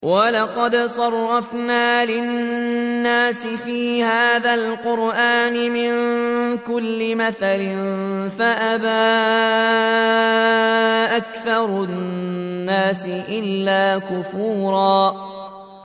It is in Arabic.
وَلَقَدْ صَرَّفْنَا لِلنَّاسِ فِي هَٰذَا الْقُرْآنِ مِن كُلِّ مَثَلٍ فَأَبَىٰ أَكْثَرُ النَّاسِ إِلَّا كُفُورًا